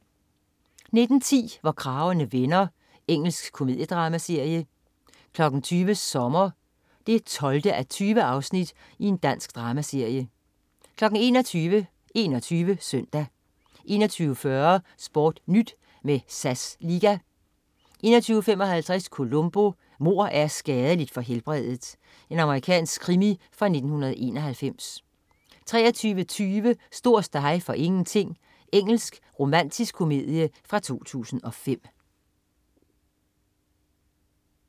19.10 Hvor kragerne vender. Engelsk komediedramaserie 20.00 Sommer 12:20. Dansk dramaserie 21.00 21 Søndag 21.40 SportNyt med SAS Liga 21.55 Columbo: Mord er skadeligt for helbredet. Amerikansk krimi fra 1991 23.20 Stor ståhej for ingenting. Engelsk romantisk komedie fra 2005